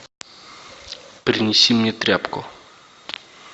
принеси мне тряпку